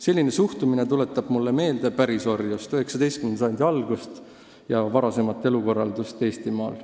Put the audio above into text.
Selline suhtumine tuletab mulle meelde pärisorjust, 19. sajandi alguse ja varasemat elukorraldust Eestimaal.